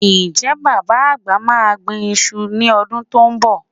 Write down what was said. Ǹjẹ́́ Bàbá àgbà máa gbin iṣu ní ọdún tó ń bọ̀?